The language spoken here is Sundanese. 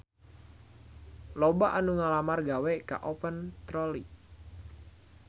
Loba anu ngalamar gawe ka Open Trolley